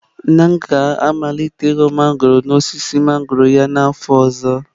Nna m ga-amalite ị ghọ mangọrọ n'osisi mangọrọ ya n'afọ ọzọ.